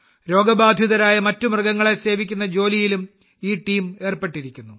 രോഗബാധിതരായ മറ്റ് മൃഗങ്ങളെ സേവിക്കുന്ന ജോലിയിലും ഈ ടീം ഏർപ്പെട്ടെിരിക്കുന്നു